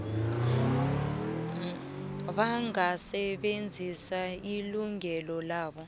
bangasebenzisa ilungelo labo